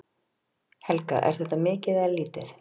Helga: Er þetta mikið eða lítið?